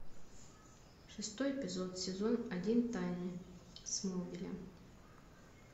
шестой эпизод сезон один тайны смолвиля